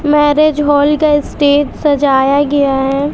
Marriage hall का stage सजाया गया है।